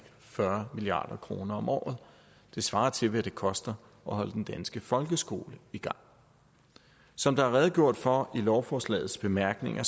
fyrre milliard kroner om året det svarer til hvad det koster at holde den danske folkeskole i gang som der er redegjort for i lovforslagets bemærkninger